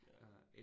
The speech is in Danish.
Ja